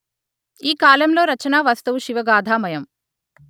ఈ కాలంలో రచనా వస్తువు శివగాధామయం